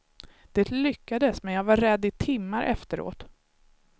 Det lyckades men jag var rädd i timmar efteråt.